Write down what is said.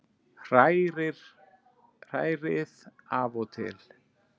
Hrærið af og til.